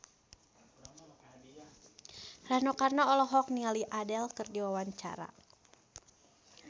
Rano Karno olohok ningali Adele keur diwawancara